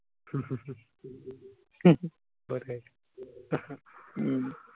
perfect. हम्म